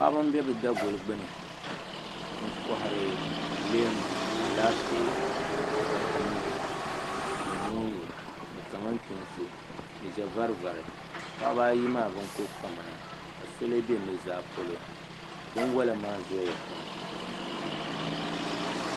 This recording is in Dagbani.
Paɣaba n bɛ bi daguli gbuni n kohari leemu Alaafee ni wotamilo ni moongu ni kamantoosi ni ʒɛ vari vari paɣaba ayi maa bin ku pami na ka so lee bɛ nuzaa polo binwola maa zooya pam